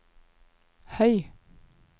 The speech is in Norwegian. høy